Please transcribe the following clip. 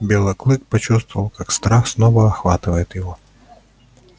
белый клык почувствовал как страх снова охватывает его